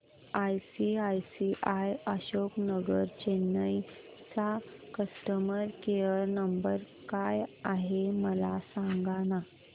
ICICI Ashok Nagar Chennai चा customer care number काय आहे मला सांगाना